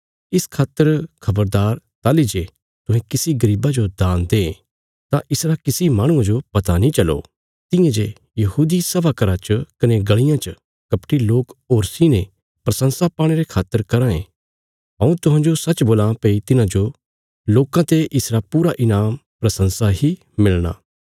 इस खातर खबरदार ताहली जे तुहें किसी गरीबा जो दान दें तां इसरा किसी माहणुये जो पता नीं चलो तियां जे यहूदी सभा घरा च कने गलियां च कपटी लोक होरीं ते प्रशंसा पाणे रे खातर कराँ ये हऊँ तुहांजो सच्च बोलां भई तिन्हांजो लोकां ते इसरा पूरा ईनाम प्रशंसा ही मिलया